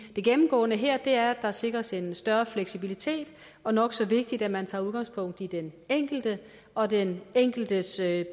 gennemgående her er at der sikres en større fleksibilitet og nok så vigtigt at man tager udgangspunkt i den enkelte og den enkeltes